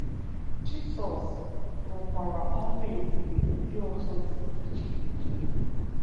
Jisọs rụkwara ọrụ ebube ndị ọzọ dị iche iche.